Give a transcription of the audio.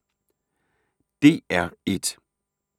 DR1